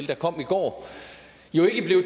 der kom i går